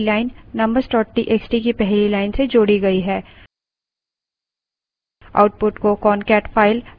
अब marks txt की पहली line numbers txt की पहली line से जोड़ी गई है